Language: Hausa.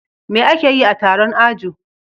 Me akeyi a Taron ajo